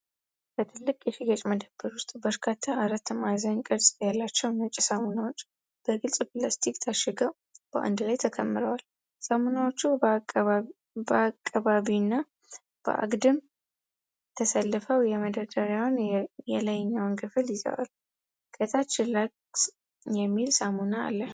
በትልቅ የሽያጭ መደብሮች ውስጥ በርካታ አራት ማዕዘን ቅርፅ ያላቸው ነጭ ሳሙናዎች በግልጽ ፕላስቲክ ታሽገው በአንድ ላይ ተከምረዋል። ሳሙናዎቹ በአቀባዊና በአግድም ተሰልፈው የመደርደሪያውን የላይኛውን ክፍል ይዘዋል። ከታች ላክስ የሚል ሳሙናም አለ።